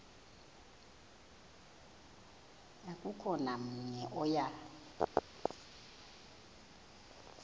akukho namnye oya